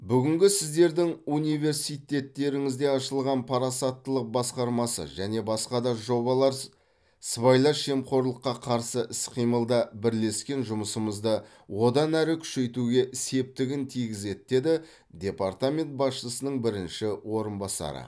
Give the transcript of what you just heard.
бүгінгі сіздердің университтеріңізде ашылған парасаттылық басқармасы және басқа да жобалар сыбайлас жемқорлыққа қарсы іс қимылда бірлескен жұмысымызды одан әрі күшейтуге септігін тигізеді деді департамент басшысының бірінші орынбасары